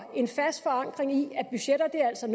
en fast forankring i at budgetter altså